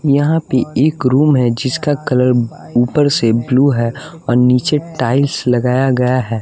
यहाँ पे एक रूम है जिसका कलर ऊपर से ब्लू है और नीचे टाइल्स लगाया गया है।